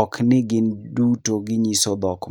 Ok ni gin giduto ginyiso dhok...